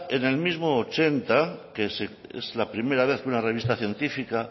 en el mismo ochenta que es la primera vez que una revista científica